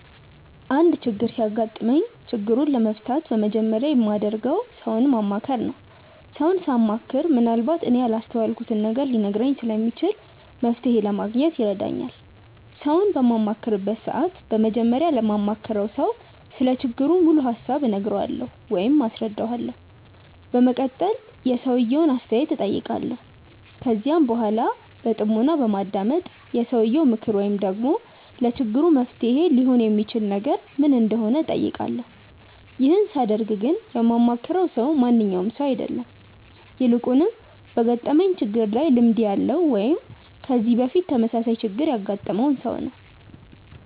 አንድ ችግር ሲያጋጥመኝ ችግሩን ለመፍታት በመጀመሪያ የማደርገው ሰውን ማማከር ነው። ሰውን ሳማክር ምንአልባት እኔ ያላስተዋልኩትን ነገር ሊነግረኝ ስለሚችል መፍተሔ ለማግኘት ይረዳኛል። ሰውን በማማክርበት ሰዓት በመጀመሪያ ለማማክረው ሰው ስለ ችግሩ ሙሉ ሀሳብ እነግረዋለሁ ወይም አስረዳዋለሁ። በመቀጠልም የሰውየውን አስተያየት እጠይቃለሁ። ከዚያም በኃላ በጥሞና በማዳመጥ የሰውየው ምክር ወይም ደግሞ ለችግሩ መፍትሔ ሊሆን የሚችል ነገር ምን እንደሆነ እጠይቃለሁ። ይህን ሳደርግ ግን የማማክረው ሰው ማንኛውም ሰው አይደለም። ይልቁንም በገጠመኝ ችግር ላይ ልምድ ያለው ወይም ከዚህ በፊት ተመሳሳይ ችግር ያገጠመውን ሰው ነው።